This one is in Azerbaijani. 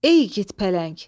Ey igid pələng.